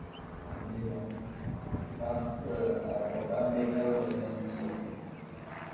അത് ശരിയാ അപ്പപ്പോ update ആവുഅല്ലോ എല്ലാ news കളും